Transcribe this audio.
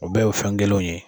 U bɛɛ ye o fɛn kelenw ye.